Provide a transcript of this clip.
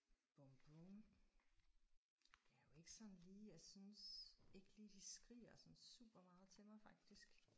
Bum bum. Der er jo ikke sådan lige jeg synes ikke lige de skriger sådan super meget til mig faktisk